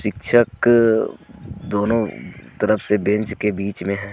शिक्षक दोनों तरफ से बेंच के बीच में है.